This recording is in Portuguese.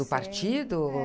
Do partido, ou?